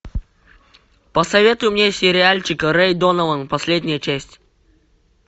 посоветуй мне сериальчик рей донован последняя часть